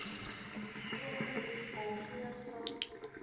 krommerivier paul krugerstraat